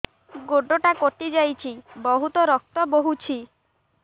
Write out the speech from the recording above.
ଗୋଡ଼ଟା କଟି ଯାଇଛି ବହୁତ ରକ୍ତ ବହୁଛି